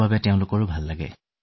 তেওঁলোকৰ আত্মবিশ্বাস বৃদ্ধি হয়